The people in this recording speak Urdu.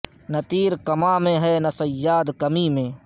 نے تیر کماں میں ہے نہ صیاد کمیں میں